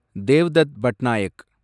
Devdutt Patnaik